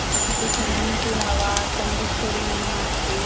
काम करणारे जे मांनस असतात, ते आपल्याला चांग